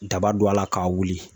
Daba don a la k'a wili